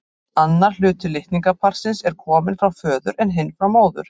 Annar hluti litningaparsins er kominn frá föður en hinn frá móður.